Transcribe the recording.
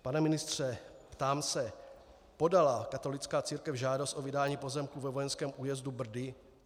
Pane ministře, ptám se: Podala katolická církev žádost o vydání pozemků ve Vojenském újezdu Brdy?